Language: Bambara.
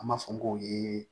An b'a fɔ k'o yee